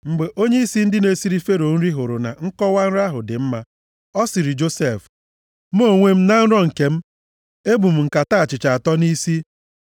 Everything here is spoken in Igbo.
Mgbe onyeisi ndị na-esiri Fero nri hụrụ na nkọwa nrọ ahụ dị mma, ọ sịrị Josef, “Mụ onwe m, na nrọ m nke m, ebu m nkata achịcha atọ nʼisi.